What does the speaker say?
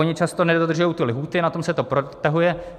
Oni často nedodržují ty lhůty, na tom se to protahuje.